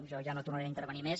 jo ja no tornaré a intervenir més